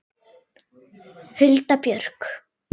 Hulda Björk.